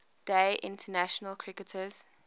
day international cricketers